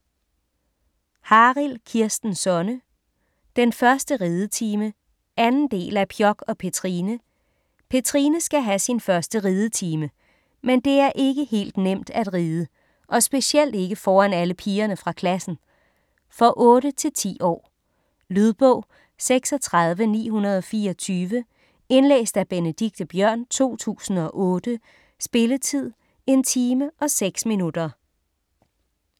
Harild, Kirsten Sonne: Den første ridetime 2. del af Pjok og Petrine. Petrine skal have sin første ridetime. Men det er ikke helt nemt at ride. Og specielt ikke foran alle pigerne fra klassen. For 8-10 år. Lydbog 36924 Indlæst af Benedikte Biørn, 2008. Spilletid: 1 time, 6 minutter.